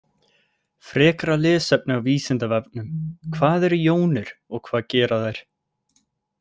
Frekara lesefni á Vísindavefnum: Hvað eru jónir og hvað gera þær?